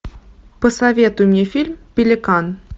посоветуй мне фильм пеликан